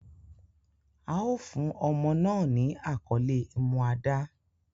A o fun omo naa ni akole Umuada